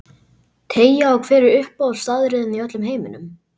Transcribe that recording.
Teygja á Hver er uppáhaldsstaðurinn þinn í öllum heiminum?